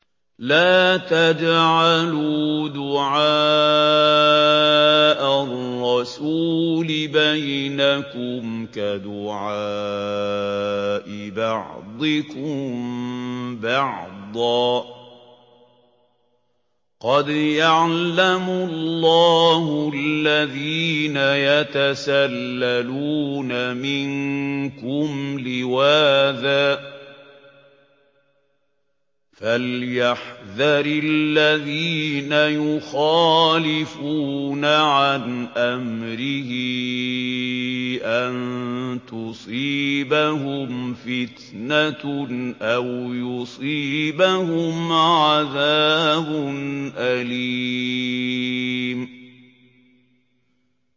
لَّا تَجْعَلُوا دُعَاءَ الرَّسُولِ بَيْنَكُمْ كَدُعَاءِ بَعْضِكُم بَعْضًا ۚ قَدْ يَعْلَمُ اللَّهُ الَّذِينَ يَتَسَلَّلُونَ مِنكُمْ لِوَاذًا ۚ فَلْيَحْذَرِ الَّذِينَ يُخَالِفُونَ عَنْ أَمْرِهِ أَن تُصِيبَهُمْ فِتْنَةٌ أَوْ يُصِيبَهُمْ عَذَابٌ أَلِيمٌ